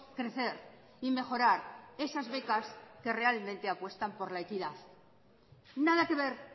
crecer y mejorar esas becas que realmente apuestan por la equidad nada que ver